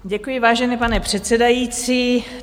Děkuji, vážený pane předsedající.